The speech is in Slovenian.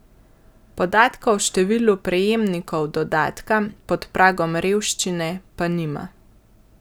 Podatka o številu prejemnikov dodatka pod pragom revščine pa nima.